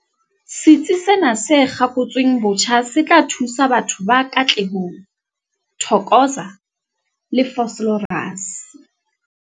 Setsi sena se kgakotsweng botjha se tla thusa batho ba Katlehong, Thokoza le Vosloorus.